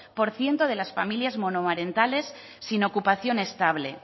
por ciento de las familias monomarentales sin ocupación estable